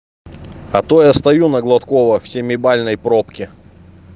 а то я стою на гладкова в семибальной пробке